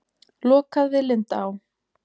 Lokað við Lindaá